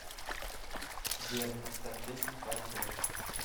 сбер поставь песню файт бэк